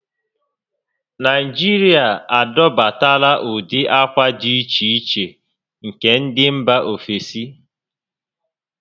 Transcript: Naijiria adọbatala ụdị ákwà di iche iche nke ndị mbà ofesi